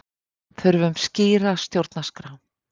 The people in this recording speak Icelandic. Þurfum skýra stjórnarskrá